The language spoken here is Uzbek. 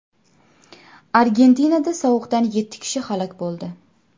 Argentinada sovuqdan yetti kishi halok bo‘ldi.